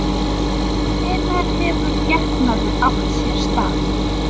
En hvenær hefur getnaður átt sér stað?